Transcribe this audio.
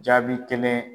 Jaabi kelen